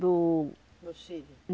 Do No Chile.